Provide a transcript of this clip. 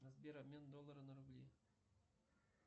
сбер обмен доллара на рубли